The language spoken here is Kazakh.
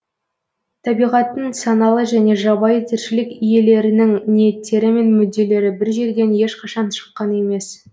табиғаттың саналы және жабайы тіршілік иелерінің ниеттері мен мүдделері бір жерден ешқашан шыққан емес